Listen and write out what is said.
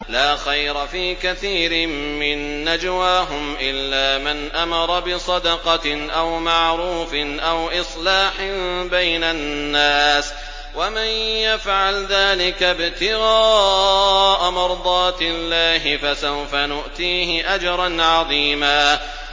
۞ لَّا خَيْرَ فِي كَثِيرٍ مِّن نَّجْوَاهُمْ إِلَّا مَنْ أَمَرَ بِصَدَقَةٍ أَوْ مَعْرُوفٍ أَوْ إِصْلَاحٍ بَيْنَ النَّاسِ ۚ وَمَن يَفْعَلْ ذَٰلِكَ ابْتِغَاءَ مَرْضَاتِ اللَّهِ فَسَوْفَ نُؤْتِيهِ أَجْرًا عَظِيمًا